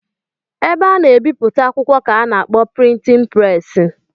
Ebe a na-ebipụta akwụkwọ ka a na-akpọ prịtịn preesị